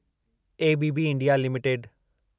ABB India limited